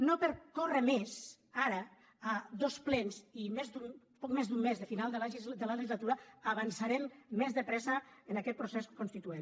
no per córrer més ara a dos plens i poc més d’un mes del final de la legislatura avançarem més de pressa en aquest procés constituent